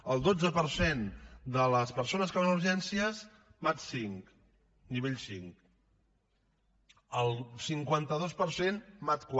el dotze per cent de les persones que van a urgències mat v nivell v el cinquanta dos per cent mat iv